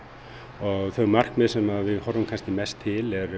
og þau markmið sem við horfum kannski mest til eru